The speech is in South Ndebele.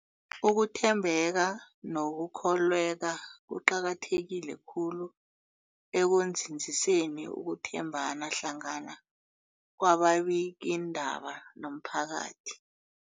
Ukuthembeka nokukholweka kuqakatheke khulu ekunzinziseni ukuthembana hlangana kwababikiindaba nomphakathi.